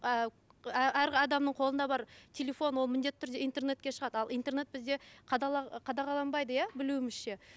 ы әр адамның қолында бар телефон ол міндетті түрде интернетке шығады ал интернет бізде қадағаланбайды иә білуімізше